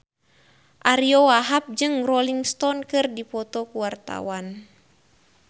Ariyo Wahab jeung Rolling Stone keur dipoto ku wartawan